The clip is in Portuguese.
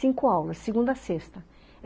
Cinco aulas, segunda à sexta.